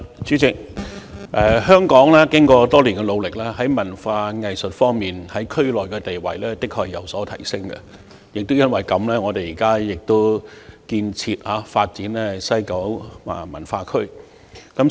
主席，經過多年努力，在文化藝術方面，香港在區內的地位的確有所提升，亦正正因為這個原因，本港現時亦致力建設及發展西九文化區。